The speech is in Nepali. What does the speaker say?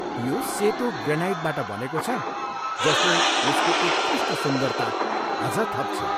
यो सेतो ग्रेनाइटबाट बनेको छ जसले यसको उत्कृष्ट सुन्दरता अझ थप्छ।